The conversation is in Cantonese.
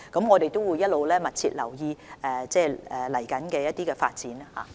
我們會一直密切留意未來的發展。